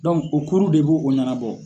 o kuuru de bo o ɲanabɔ.